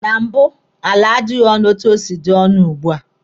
Na mbụ, ala adịghị onu etu o si dị ọnụ ugbua.